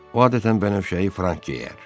O adətən bənövşəyi frank geyər.